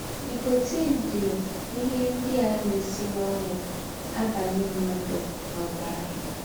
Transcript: Nikọtin dị n’ihe ndị a na - esi n’ọnụ abanye mmadụ n’ọbara.